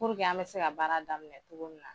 an bɛ se ka baara daminɛ cogo min na.